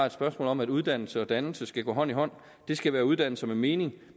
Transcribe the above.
et spørgsmål om at uddannelse og dannelse skal gå hånd i hånd det skal være uddannelse med mening